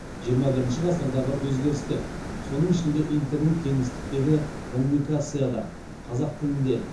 жиырма бірінші ғасырдағы өзгерістер соның ішінде интернет кеңістіктегі коммуникация да қазақ тілінде